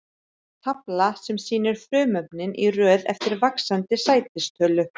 Tafla sem sýnir frumefnin í röð eftir vaxandi sætistölu.